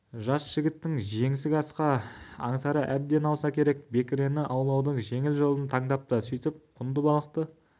жас жігіттің жеңсік асқа аңсары әбден ауса керек бекірені аулаудың жеңіл жолын таңдапты сөйтіп құнды балықты